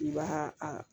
I b'a a